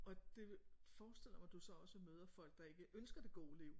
Og det forestiller jeg mig du så også møder folk der ikke ønsker det gode liv